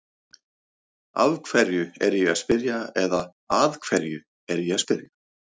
Af hverju er ég að spyrja eða að hverju er ég að spyrja?